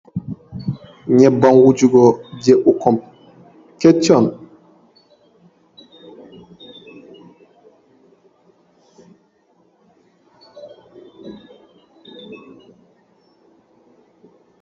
Nyemban wuju go je ɓikkoi keccon.